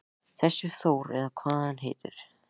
Þessi Þór eða hvað hann heitir.